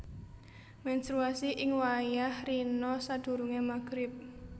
Mènstruasi ing wayah rina sadurungé Maghrib